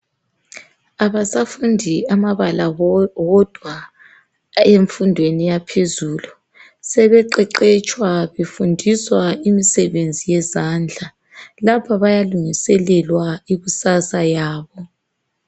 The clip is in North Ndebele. Abasafundi amabala wodwa emfundweni yaphezulu sebeqeqetshwa befundiswa imisebenzi yezandla lapho bayalungiselelwa ikusasa yabo.